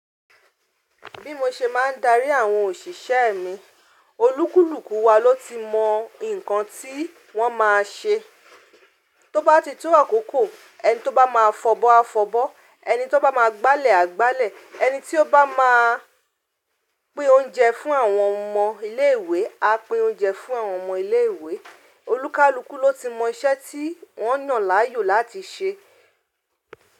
Bí mo ṣe máa ń darí àwọn òṣìṣẹ́ mi, olúkúlùkù wa ló ti mọ ǹkan tí wọ́n ma ṣe. Tó bá ti tó àkókò, ẹni tó bá máa fọbọ́ á fọbọ́, ẹni tó bá máa gba'lẹ̀ á gba'lẹ̀, ẹni tí ó bá máa pín oúnjẹ fún àwọn ọmọ ilé ìwé á pín oúnjẹ fún àwọn ọmọ ilé ìwé. Olúkalùkù ló ti mọ iṣẹ́ tí wọ́n yàn láàyò láti ṣe.